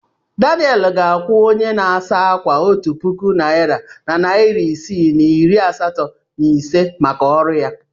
Daniel ga-akwụ onye na-asa ákwà otu puku naịra na narị isii na iri asatọ na ise maka ọrụ ya.